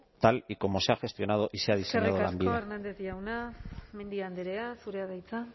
tal y como se ha gestionado y se ha diseñado lanbide eskerrik asko hernández jauna mendia andrea zurea da hitza